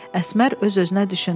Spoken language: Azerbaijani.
Əsmər öz-özünə düşündü.